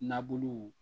Nabuluw